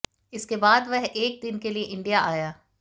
इसके बाद वह एक दिन के लिए इंडिया आया